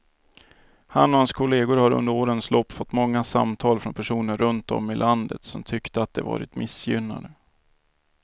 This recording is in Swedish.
Han och hans kolleger har under årens lopp fått många samtal från personer runt om i landet som tyckte att de var missgynnade.